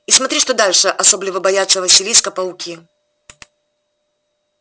и смотри что дальше особливо боятся василиска пауки